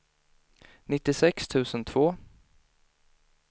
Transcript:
nittiosex tusen två